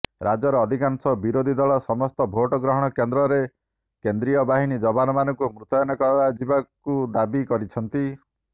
ରାଜ୍ୟର ଅଧିକାଂଶ ବିରୋଧୀଦଳ ସମସ୍ତ ଭୋଟଗ୍ରହଣ କେନ୍ଦ୍ରରେ କେନ୍ଦ୍ରୀୟ ବାହିନୀ ଯବାନମାନଙ୍କୁ ମୁତୟନ କରାଯିବାକୁ ଦାବି କରିଛନ୍ତି